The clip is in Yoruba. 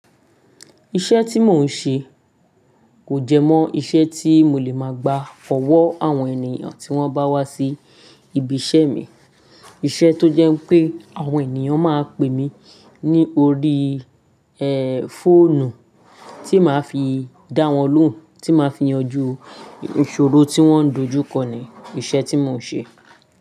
Iṣẹ́ tí mò ń ṣe kò jẹ́ mọ́ iṣẹ́ tí mo lè máa gba ọ̀wọ́ àwọn ènìyàn tí wọ́n bá wá sí ibi iṣẹ́ mi. Iṣẹ́ tó jẹ́ pé àwọn ènìyàn máa ń pè mí ní orí, e, fóònù, tí máa fi dá wọn lóhùn, tí máa fi yanjú ìṣòro tí wọ́n dojú kọ ni iṣẹ́ tí mò ń ṣe.